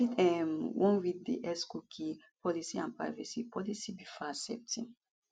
you fit um wan read di xcookie policyandprivacy policybefore accepting